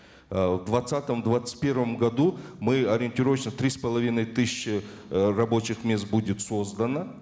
э в двадцатом двадцать первом году мы ориентировочно три с половиной тысячи э рабочих мест будет создано